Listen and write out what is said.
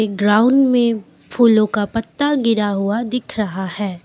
Ground मे फूलो का पत्ता गिरा हुआ दिख रहा है।